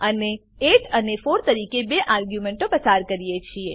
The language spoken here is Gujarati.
અને 8 અને 4 તરીકે બે આર્ગ્યુંમેંટો પસાર કરીએ છીએ